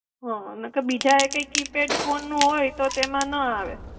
હા નહિ તો બીજા એ કઈ કીપેડ ફોન નો હોય તો તેમાં ન આવે.